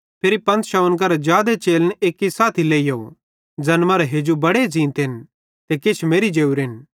फिरी 500 करां जादे चेलन एक्की साथी लेइहोव ज़ैन मरां हेजू बड़े ज़ींतन ते किछ मेरि ज़ोरेन